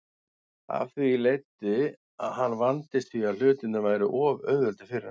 Af því leiddi að hann vandist því að hlutirnir væru of auðveldir fyrir hann.